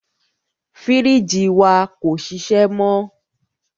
Fírìjì wa kò ṣiṣẹ́ mọ.